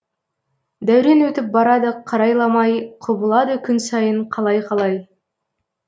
дәурен өтіп барады қарайламай құбылады күн сайын қалай қалай